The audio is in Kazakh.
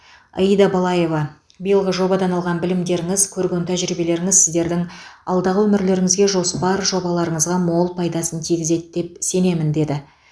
аида балаева биылғы жобадан алған білімдеріңіз көрген тәжірибелеріңіз сіздердің алдағы өмірлеріңізге жоспар жобаларыңызға мол пайдасын тигізеді деп сенемін деді